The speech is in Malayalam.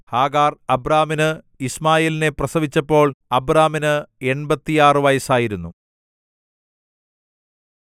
ഹാഗാർ അബ്രാമിനു യിശ്മായേലിനെ പ്രസവിച്ചപ്പോൾ അബ്രാമിന് എൺപത്തിയാറ് വയസ്സായിരുന്നു